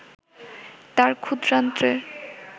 তাঁর ক্ষুদ্রান্ত্রের